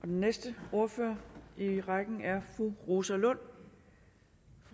den næste ordfører i rækken er fru rosa lund